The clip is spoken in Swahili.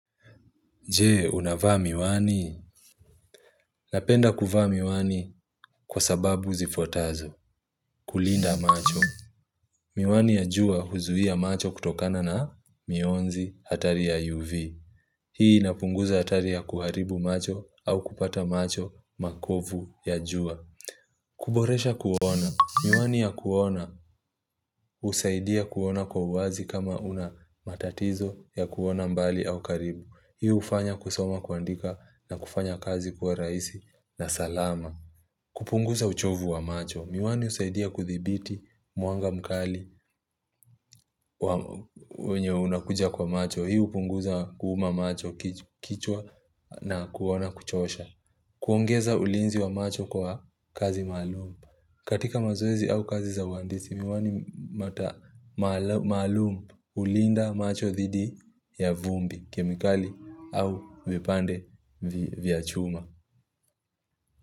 Je, unavaa miwani? Napenda kuvaa miwani kwa sababu zifuatazo. Kulinda macho. Miwani ya jua huzuia macho kutokana na mionzi hatari ya UV. Hii inapunguza hatari ya kuharibu macho au kupata macho makovu ya jua. Kuboresha kuona. Miwani ya kuona husaidia kuona kwa uazi kama una matatizo ya kuona mbali au karibu. Hii hufanya kusoma kuandika na kufanya kazi kuwa rahisi na salama. Kupunguza uchovu wa macho. Miwani husaidia kudhibiti mwanga mkali wenye unakuja kwa macho. Hii hupunguza kuuma macho kichwa na kuona kuchosha. Kuongeza ulinzi wa macho kwa kazi maalum katika mazoezi au kazi za uhandisi, miwani mata maalum hulinda macho dhidi ya vumbi, kemikali au vipande vya chuma.